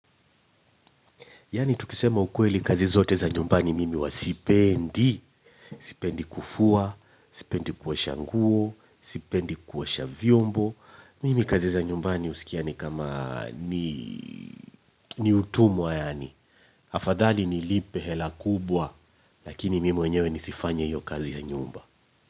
Yaani tukisema ukweli kazi zote za nyumbani mimi huwa sipendi, sipendi kufua, sipendi kuosha nguo, sipendi kuosha vyombo, mimi kazi za nyumbani husikia kama ni utumwa yaani afadhali nilipe hela kubwa, lakini mimi wenyewe nisifanye hiyo kazi ya nyumba.